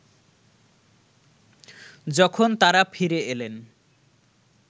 যখন তাঁরা ফিরে এলেন